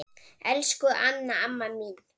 Elsku Anna amma mín.